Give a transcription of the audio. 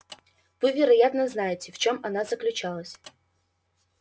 вы вероятно знаете в чем она заключалась